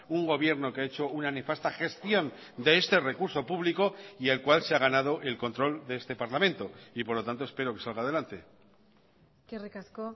un gobierno que ha hecho una nefasta gestión de este recurso público y el cual se ha ganado el control de este parlamento y por lo tanto espero que salga adelante eskerrik asko